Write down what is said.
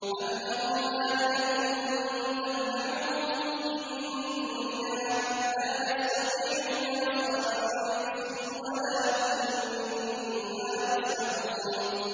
أَمْ لَهُمْ آلِهَةٌ تَمْنَعُهُم مِّن دُونِنَا ۚ لَا يَسْتَطِيعُونَ نَصْرَ أَنفُسِهِمْ وَلَا هُم مِّنَّا يُصْحَبُونَ